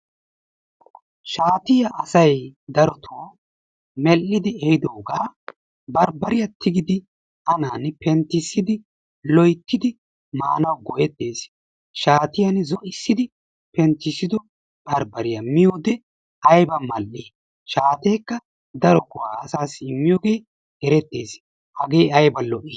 Shaatiyaa asay darotoo mel''idi ehiidoogaa barbbariyaa tiggidi anani penttissidi loyttidi maanaw go''ettees. Shaatiyaan zo'issidi penttissido barbbariyaa miyyoode aybba mal''i, shaatekka daro go''a asassi immiyoogee erettees. Hagee ayba lo''i!